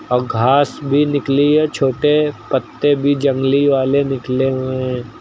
और घास भी निकली है छोटे पत्ते भी जंगली वाले निकले हुए हैं।